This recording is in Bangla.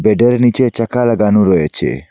বেডের নীচে চাকা লাগানো রয়েছে।